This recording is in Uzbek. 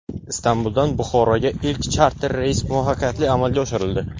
Istanbuldan Buxoroga ilk charter reys muvaffaqiyatli amalga oshirildi .